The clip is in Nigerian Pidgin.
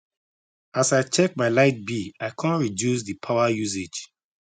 as i check my light bill i come reduce the power usage